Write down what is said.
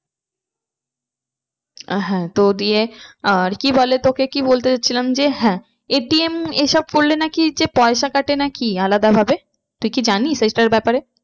আহ হ্যাঁ তো দিয়ে আহ কি বলে তোকে কি বলতে যাচ্ছিলাম যে হ্যাঁ ATM এ সব করলে নাকি যে পয়সা কাটে নাকি আলাদা ভাবে? তুই কি জানিস এটার ব্যাপারে?